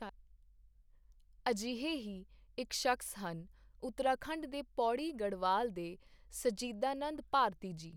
ਅਜਿਹੇ ਹੀ ਇਕ ਸ਼ਖ਼ਸ ਹਨ, ਉਤਰਾਖੰਡ ਦੇ ਪੌੜੀ ਗੜਵਾਲ ਦੇ ਸਚੀਦਾਨੰਦ ਭਾਰਤੀ ਜੀ।